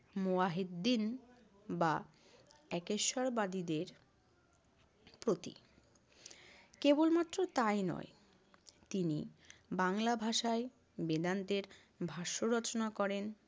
মুয়াহিদ্দিন বা একেশ্বরবাদীদের প্রতীক। কেবলমাত্র তাই নয় তিনি বাংলা ভাষায় বেদান্তের ভাষ্য রচনা করেন।